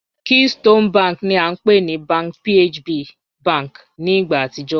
Keystone bank ni a npe ni Bank PHB bank ni igba atijọ